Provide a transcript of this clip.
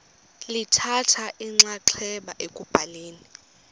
lithatha inxaxheba ekubhaleni